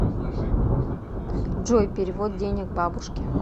джой перевод денег бабушке